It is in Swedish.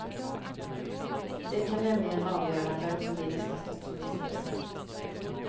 De kan nämligen avgöra vem som blir nästa statsminister.